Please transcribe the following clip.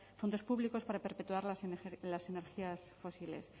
fondos públicos para perpetuar las energías fósiles